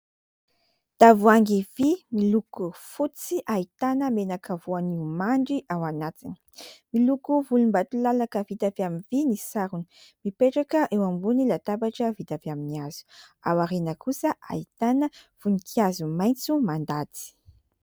Tavoahangy vy miloko fotsy ahitana menaka voanio mandry ao anatiny ; miloko volombatolalaka vita avy amin'ny vy ny sarony, mipetraka eo ambony latabatra vita avy amin'ny hazo , ao aoriana kosa ahitana voninkazo maintso mandady .